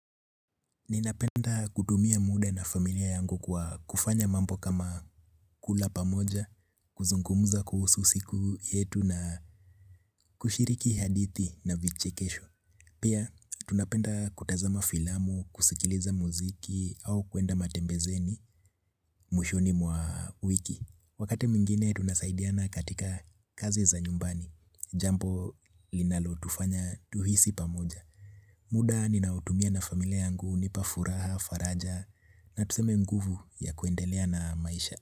Ninapenda kutumia muda na familia yangu kwa kufanya mammo kama kula pamoja, kuzungumuza kuhusu siku yetu na kushiriki hadithi na vichekesho. Pia, tunapenda kutazama filamu, kusikiliza muziki au kwenda matembezeni, mwishoni mwa wiki. Wakati mwingine, tunasaidiana katika kazi za nyumbani, jambo linalotufanya tuhisi pamoja. Muda ninaotumia na familia yangu hunipa furaha faraja na tuseme mguvu ya kwendelea na maisha.